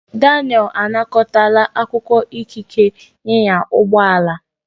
Daniel anakọtala akwụkwọ ikike ịnya ụgbọ ala ya.